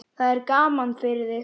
Það er gaman fyrir þig.